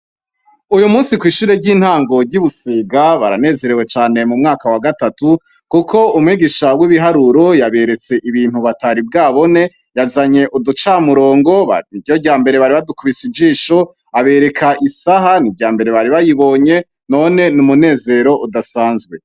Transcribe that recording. Uyu musi kw'ishure ry'intangory'ibusega baranezerewe cane mu mwaka wa gatatu, kuko umwegisha w'ibiharuro yaberetse ibintu bataribwabone yazanye uducamurongoba ni ryo rya mbere bari badukubise ijisho abereka isaha ni rya mbere bari bayibonye none ni umunezero udasanzwe.